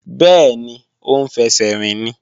Bẹ́ẹ̀ni, ó ń fẹsẹ̀ rìn ni